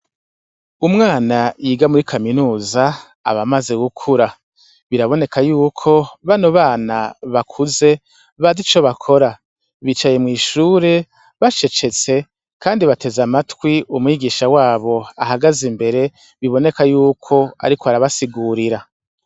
Umwana yiga muri kaminuza aba amaze gukura, biraboneka yuko bano bana bakuze bazi ico bakora, bicaye mw'ishure bacecetse kandi bateze amatwi umwigisha wabo ahagaze imbere biboneka yuko ariko arabasigurira.